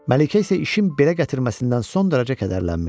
Məlikə isə işin belə gətirməsindən son dərəcə kədərlənmişdi.